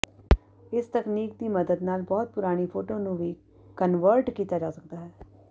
ਇਸ ਤਕਨੀਕ ਦੀ ਮਦਦ ਨਾਲ ਬਹੁਤ ਪੁਰਾਣੀ ਫੋਟੋ ਨੂੰ ਵੀ ਕਨਵਰਟ ਕੀਤਾ ਜਾ ਸਕਦਾ ਹੈ